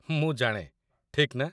ମୁଁ ଜାଣେ, ଠିକ୍ ନା?